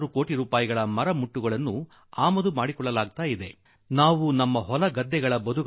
ಈಗ ಭಾರತದಲ್ಲಿ ಮನೆ ಕಟ್ಟಲು ಫರ್ನೀಚರ್ ಮಾಡಲು ಕೋಟಿಗಟ್ಟಲೆ ರೂಪಾಯಿ ಮೌಲ್ಯದ ಟಿಂಬರ್ ನ್ನು ವಿದೇಶಗಳಿಂದ ತರಿಸಿಕೊಳ್ಳಬೇಕಾಗುತ್ತದೆ